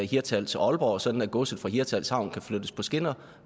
hirtshals og aalborg sådan at godset fra hirtshals havn kunne flyttes på skinner